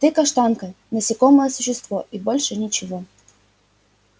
ты каштанка насекомое существо и больше ничего